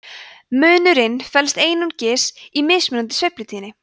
munurinn felst einungis í mismunandi sveiflutíðni